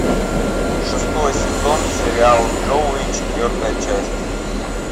шестой сезон сериал джоуи четвертая часть